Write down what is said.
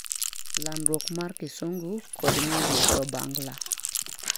landruok mar kisungu kod ng'eruok dho bangla